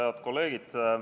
Head kolleegid!